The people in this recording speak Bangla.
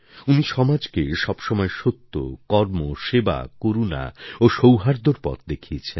উনি সমাজকে সবসময় সত্য কর্ম সেবা করুণা ও সৌহার্দ্যর পথ দেখিয়েছেন